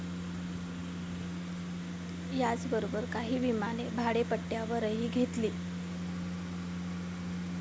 याचबरोबर काही विमाने भाडेपट्ट्यावरही घेतली.